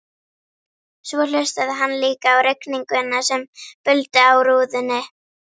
Svo hlustaði hann líka á rigninguna sem buldi á rúðunni.